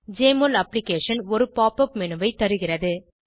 JMOL அப்ளிகேஷனும் ஒருPop up menu ஐ தருகிறது